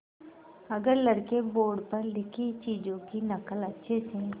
अगर लड़के बोर्ड पर लिखी चीज़ों की नकल अच्छे से